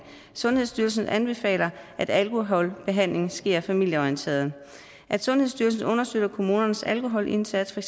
sundhedsstyrelsen anbefaler at alkoholbehandling sker familieorienteret at sundhedsstyrelsen understøtter kommunernes alkoholindsats for